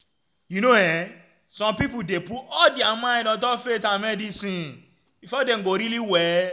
you know eh some pipo dey put all dia mind ontop faith and medicine ah befor dem go really well?